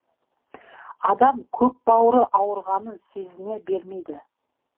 адам көкбауыры ауырғанын сезіне бермейді